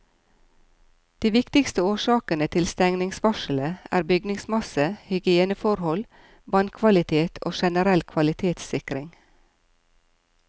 De viktigste årsakene til stengningsvarselet er bygningsmasse, hygieneforhold, vannkvalitet og generell kvalitetssikring.